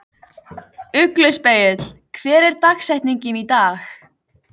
Ugluspegill, hver er dagsetningin í dag?